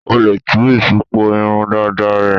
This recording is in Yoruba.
O lè tú ìṣùpọ̀ irun dàda rẹ.